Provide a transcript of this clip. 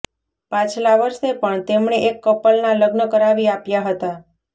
પાછલા વર્ષે પણ તેમણે એક કપલના લગ્ન કરાવી આપ્યા હતા